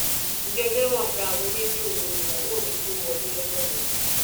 ǹjẹ ẹ jẹ mọ pé aago méjì òru nìyàwó mi tóó wọlé lọjọ yẹn